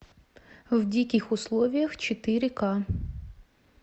в диких условиях четыре ка